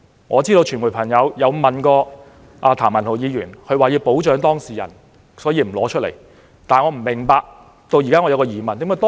我知道傳媒曾就此事問過譚文豪議員，他卻說要保障當事人，所以不會把文件拿出來。